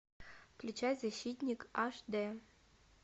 включай защитник аш дэ